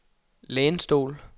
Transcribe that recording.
lænestol